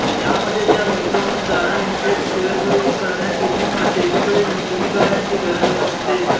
यामध्ये त्या गुंतवणूकदारांनी थेट शेअर खरेदी करण्याची किंवा सेबीकडे नोंदणी करण्याची गरज नसते